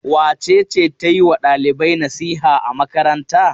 Wace ce ta yi wa ɗalibai nasiha a makaranta?